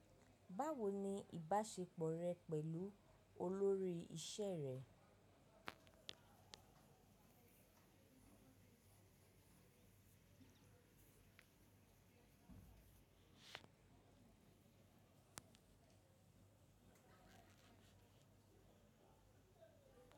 Báwo ni ìbáṣepọ̀ rẹ pẹ̀lú olórí iṣẹ́ rẹ?